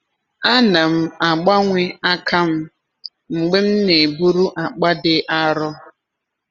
Ana m agbanwe aka m mgbe m na-eburu akpa dị arọ.